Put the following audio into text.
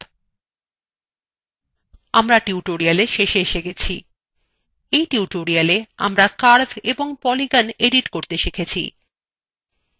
আমরা tutorialএর শেষে এসে গেছি এই tutorialwe আমরা curves এবং polygons edit করতে শিখেছি